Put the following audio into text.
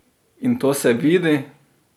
In to se vidi!